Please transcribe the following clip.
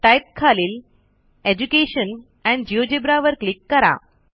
type खालील education and GeoGebra वर क्लिक करा